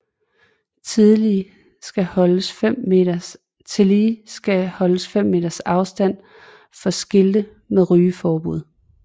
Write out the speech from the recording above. Tillige skal holdes fem meters afstand for skilte med rygeforbud